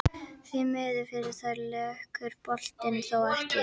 Því miður fyrir þær lekur boltinn þó ekki inn.